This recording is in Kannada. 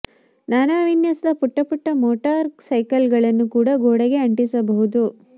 ನಾನಾ ವಿನ್ಯಾಸದ ಪುಟ್ಟ ಪುಟ್ಟ ಮೋಟಾರ್ ಸೈಕಲ್ಗಳನ್ನು ಕೂಡ ಗೋಡೆಗೆ ಅಂಟಿಸಬಹುದು